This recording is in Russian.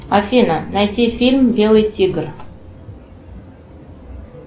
афина найти фильм белый тигр